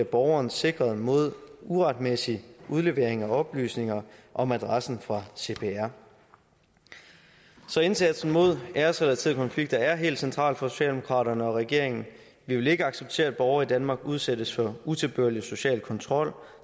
borgeren sikret mod uretmæssig udlevering af oplysninger om adressen fra cpr så indsatsen mod æresrelaterede konflikter er helt central for socialdemokraterne og regeringen vi vil ikke acceptere at borgere i danmark udsættes for utilbørlig social kontrol